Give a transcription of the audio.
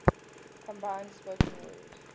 combined spoken word